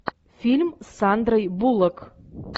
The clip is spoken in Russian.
фильм с сандрой буллок